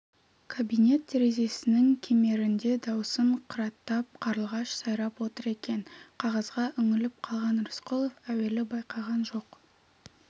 кабинет терезесінің кемерінде даусын қыраттап қарлығаш сайрап отыр екен қағазға үңіліп қалған рысқұлов әуелі байқаған жоқ